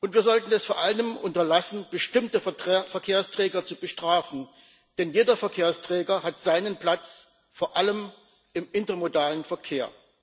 Wir sollten es vor allem unterlassen, bestimmte Verkehrsträger zu bestrafen, denn jeder Verkehrsträger hat seinen Platz, vor allem im intermodalen Verkehr.